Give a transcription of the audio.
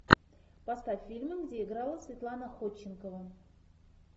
поставь фильмы где играла светлана ходченкова